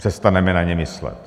Přestaneme na ně myslet.